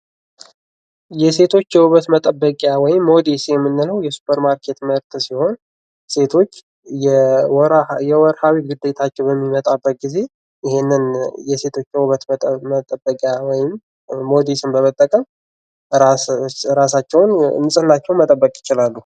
የሴቶች የዉበት መጠበቂያ ወይም ሞዴስ የምንለው የሱፐር ማርኬት ምርት ሲሆን ሴቶች የወራዊ ግዴታቸው በሚመጣበት ጊዜ ይሀንን የሴቶች የዉበት መጠበቂያ ወይም ሞዴስ በመጠቀም ራሳቸውን ንጽህናቸውን መጠበቅ ይችላሉ።